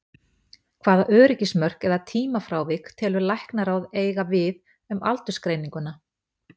Hvaða öryggismörk eða tímafrávik telur Læknaráð eiga við um aldursgreininguna?